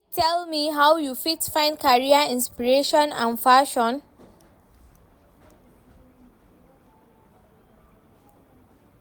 You fit tell me how you fit find career inspiration and passion?